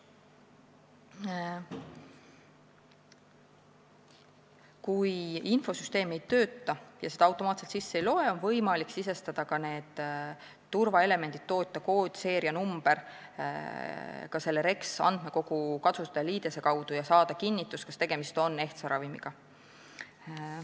Kui infosüsteem ei tööta ja turvaelemente automaatselt ei loe, on võimalik sisestada turvaelemendid ka REKS-i andmekogu kasutajaliidese kaudu ja saada kinnitust, kas tegemist on ehtsa ravimiga.